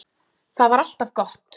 Það var alltaf gott.